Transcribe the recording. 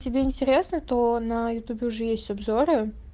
тебе интересно то на ютубе уже есть обзоры